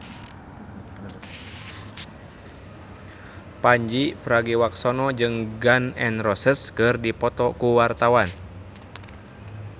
Pandji Pragiwaksono jeung Gun N Roses keur dipoto ku wartawan